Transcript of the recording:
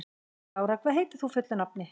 Lára, hvað heitir þú fullu nafni?